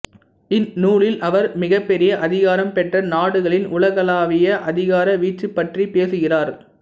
இந்நூலில் அவர் மிகப்பெரிய அதிகாரம் பெற்ற நாடுகளின் உலகளாவிய அதிகார வீச்சுப் பற்றிப் பேசுகிறார்